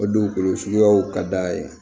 O dugukolo suguyaw ka d'a ye